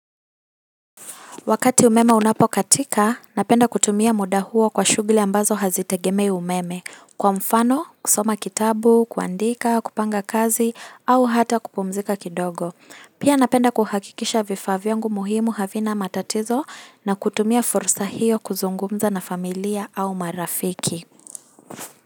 Wakati umeme unapokatika, napenda kutumia muda huo kwa shughuli ambazo hazitegemei umeme, kwa mfano, kusoma kitabu, kuandika, kupanga kazi, au hata kupumzika kidogo. Pia napenda kuhakikisha vifaa vyangu muhimu havina matatizo na kutumia fursa hiyo kuzungumza na familia au marafiki.